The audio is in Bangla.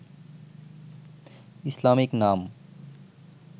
ইসলামিক নাম